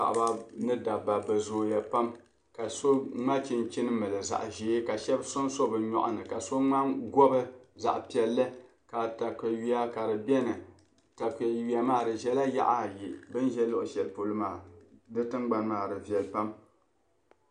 Paɣaba ni daba bɛ zooya pam. ka so mŋa chinchini n mili zaɣiʒɛɛ. ka shabi din so bɛ nyɔɣini. ka so gobi zaɣi piɛli, ka taka yuya kadi beni, takayuya maa di ʒɛla yaɣa ayi bɛn ʒɛ luɣishɛli pɔlɔ maa. bɛ tiŋ gbani maa di veli pam.